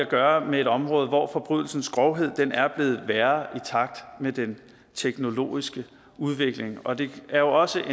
gøre med et område hvor forbrydelsens grovhed er blevet værre i takt med den teknologiske udvikling og det er jo også